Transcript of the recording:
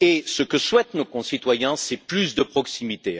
Ce que souhaitent nos concitoyens, c'est plus de proximité.